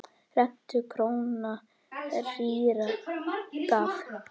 Rentu króna rýra gaf.